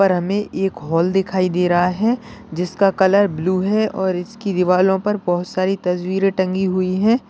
और हमें एक हॉल दिखाई दे रहा है जिसका कलर ब्लू है और इसकी दीवारों पर बहुत सारी तस्वीरें टंगी हुई है।